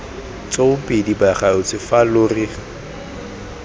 tsoopedi bagaetsho fa lo re